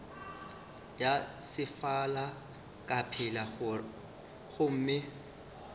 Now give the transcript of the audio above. ya sefala ka pela gomme